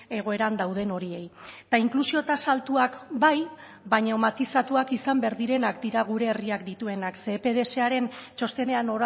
egoeran dauden horiei eta inklusio tasa altuak bai baina matizatuak izan behar direnak dira gure herriak dituenak ze epdsaren txostenean